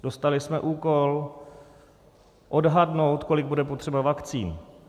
Dostali jsme úkol odhadnout, kolik bude potřeba vakcín.